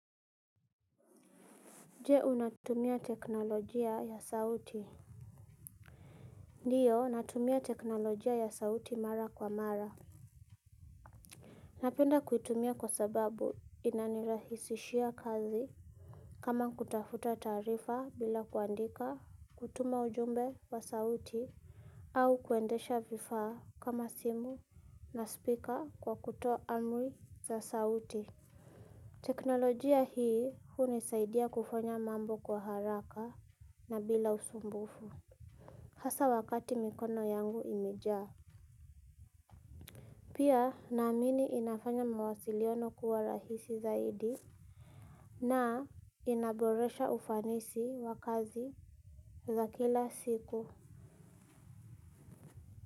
Jee unatumia teknolojia ya sauti. Ndiyo natumia teknolojia ya sauti mara kwa mara. Napenda kuitumia kwa sababu inanirahisishia kazi kama kutafuta taarifa bila kuandika kutuma ujumbe wa sauti. Au kuendesha vifaa kama simu na speaker kwa kutoa amri za sauti. Teknolojia hii hunisaidia kufanya mambo kwa haraka na bila usumbufu. Hasa wakati mikono yangu imejaa. Pia naamini inafanya mawasiliano kuwa rahisi zaidi. Na inaboresha ufanisi wa kazi za kila siku.